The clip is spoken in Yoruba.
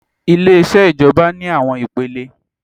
Ileṣẹ́ ìjọba ní àwọn ipele